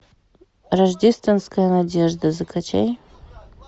рождественская надежда закачай